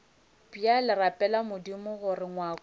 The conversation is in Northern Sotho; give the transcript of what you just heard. bjale rapela modimo gore ngwako